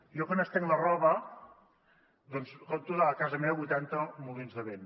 jo quan estenc la roba doncs conto des de casa meva vuitanta molins de vent